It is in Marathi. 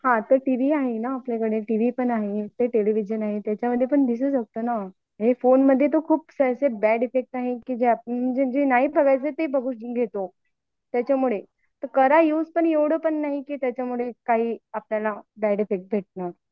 हान टीव्ही आहे ना आपल्याकडे, टेलिव्हिजन आहे त्याच्यामध्ये बघू शकतो ना. फोनमध्ये तर खूप बॅड इफेक्ट आहे की जे नाही बघायचं ते बघून घेतो. त्याच्यामुळे करा युज पण एवढं पण नाही कि त्याला काही आपल्याला बॅड इफेक्ट पडणार